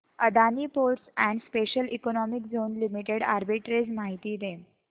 Adani ports and special economic zone limited arbitrage माहिती दे